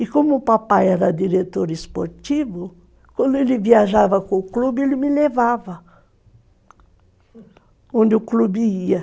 E como o papai era diretor esportivo, quando ele viajava com o clube, ele me levava onde o clube ia.